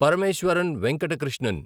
Parameswaran Venkata Krishnan